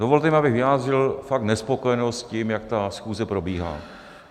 Dovolte, abych vyjádřil fakt nespokojenost s tím, jak ta schůze probíhá.